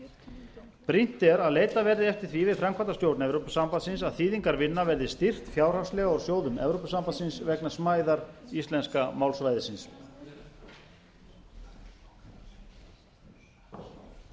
kostnaðarliðurinn brýnt er að leitað verði eftir því við framkvæmdastjórn evrópusambandsins að þýðingarvinnan verði styrkt fjárhagslega úr sjóðum evrópusambandsins vegna smæðar íslenska málsvæðisins